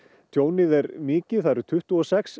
tjónið er mikið það eru tuttugu og sex